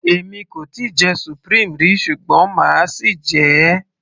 èmi kò tíì jẹ supreme rí ṣùgbọ́n máa sì jẹ ẹ́